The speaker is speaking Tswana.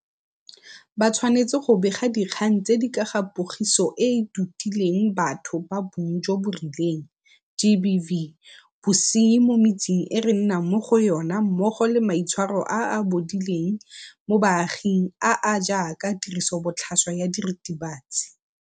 Ba tshwanetse go bega dikgang tse di ka ga Pogiso e e Totileng Batho ba Bong jo bo Rileng GBV, bosenyi mo metseng e re nnang mo go yona mmogo le maitshwaro a a bodileng mo baaging a a jaaka tirisobotlhaswa ya diritibatsi.